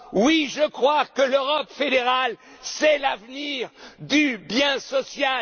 d'Europe! Oui, je crois que l'Europe fédérale, c'est l'avenir du bien